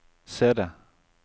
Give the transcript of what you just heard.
CD